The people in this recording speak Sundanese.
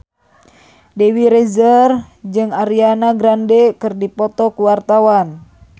Dewi Rezer jeung Ariana Grande keur dipoto ku wartawan